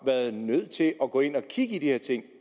været nødt til at gå ind at kigge i de her ting